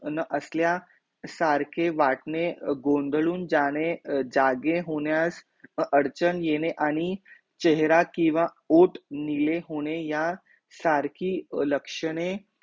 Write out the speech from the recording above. न असल्या सारखे वाटणे, गोंधळून जाणे, जागे होण्यास अडचण येणे आणि, चेहरा किंवा ओठ निळे होणे या सरकी लक्षणे